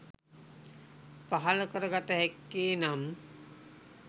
පහළ කර ගත හැක්කේ, නම්